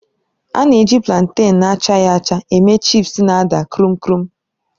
A na-eji plantèn na-achaghị acga eme chịpsi na-ada kruum kruum.